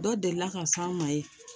Dɔ delila ka s'an ma yen